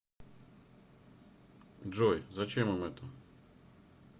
джой зачем им это